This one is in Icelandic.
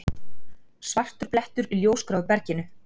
Svartur blettur í ljósgráu berginu.